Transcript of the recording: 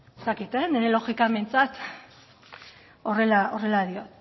ezta ez dakit nire logikan behintzat horrela dio